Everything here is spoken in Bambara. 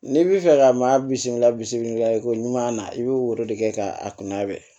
N'i b'i fɛ ka maa bisikila bisiki la i ko ɲuman na i bɛ woro de kɛ ka a kunna bɛ